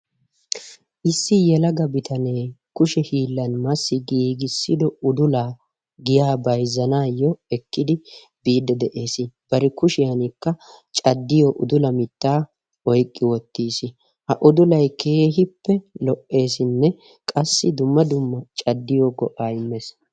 Issi yelaga bitanee kushe hiillan massi giigissido udulaa giyaa bayzzanaayyoo ekkidi biidde de'ees. Bari kushiyaankka caddiyo udula mittaa oykki wottiis. Ha udulay keehippe lo''eesinne qassi dumma dumma caddiyo go''aa immees.